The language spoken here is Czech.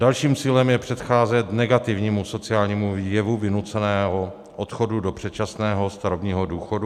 Dalším cílem je předcházet negativnímu sociálnímu jevu vynuceného odchodu do předčasného starobního důchodu.